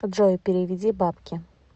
джой переведи бабки